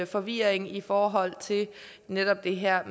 forvirring i forhold til netop det her